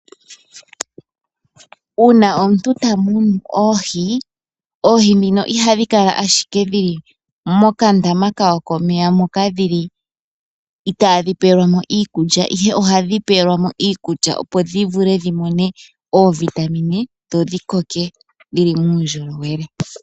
Uuna omuntu ta munu oohi, oohi ndhino ihadhi kala ashike dhili mokandama kawo komeya moka dhili itaadhi pewelwamo iikulya ihe ohadhi pewelwamo iikulya opo dhi vule dhi mone oovitamine dho dhi koke dhili uundjolowele.